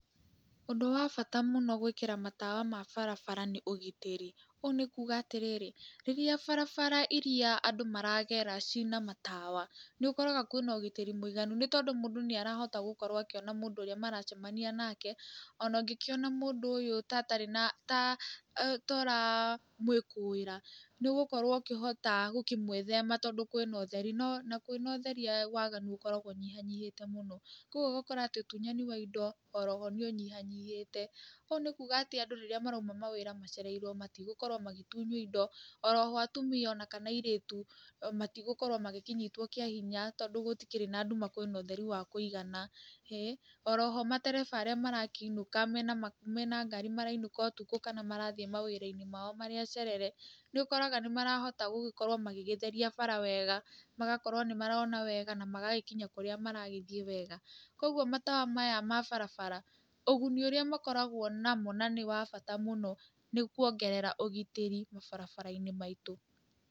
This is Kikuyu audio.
Ũndũ wa bata mũno gũĩkĩra matawa ma barabara nĩ ugitĩri, ũũ nĩ kuuga atĩrĩrĩ, rĩrĩa barabara iria andũ maragera cina matawa, nĩ ũkoraga kwĩna ũgitĩri mũiganu, nĩ tondũ mũndũ nĩ arahota gũkorwo akĩona mũndũ ũrĩa maracemania nake, ona angĩkĩona mũndũ ũyũ to ũramũĩkũĩra, nĩ ũgũkorwo ũkĩhota gũkĩmwĩthema tondũ kwĩna ũtheri, na kwĩna ũtheri waganu ũkoragwo ũnyihanyihĩte mũno, kũguo ũgakora atĩ ũtunyani wa indo oroho nĩ ũnyihanyihĩte, ũũ nĩ kuuga atĩ andũ rĩrĩa marauma wĩra macereirwo matigũkorwo magĩtunywo indo, oroho atumia ona kana airĩtu matigũkorwo magĩkĩnyitwo kĩa hinya tondũ gũtikĩrĩ na nduma kwina ũtheri wa kũigana, oro ho matereba arĩ marakĩinũka mena ngari marainũka kana merathiĩ wawira-inĩ mao marĩ acerere, nĩ ũkoraga nĩ marahota gũgĩkorwo magĩgĩtheria bara wega, magakorwo nĩ marona wega na magagĩkinya kũrĩa maragĩthiĩ wega. Kũguo matawa maya ma barabara, ũguni ũrĩa makoragwo namo na nĩ wa bata mũno, nĩ kuongerera ũgitĩri mabarabara-inĩ maitũ.